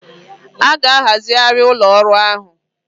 A ga-ahazigharị ụlọ ọrụ ahụ